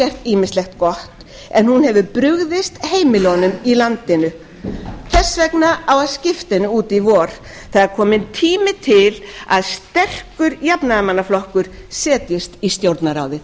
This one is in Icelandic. ýmislegt gott en hún hefur brugðist heimilunum í landinu þess vegna á að skipta henni út í vor það er kominn tími til að sterkur jafnaðarmannaflokkur setjist í stjórnarráðið